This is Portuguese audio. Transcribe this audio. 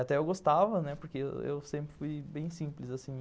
Até eu gostava, né, porque eu sempre fui bem simples.